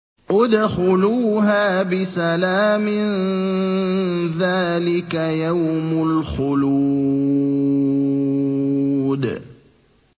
ادْخُلُوهَا بِسَلَامٍ ۖ ذَٰلِكَ يَوْمُ الْخُلُودِ